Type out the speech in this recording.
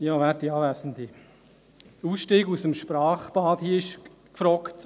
Hier ist der Ausstieg aus dem Sprachbad gefragt.